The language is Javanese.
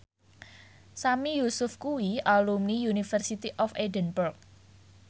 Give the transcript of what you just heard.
Sami Yusuf kuwi alumni University of Edinburgh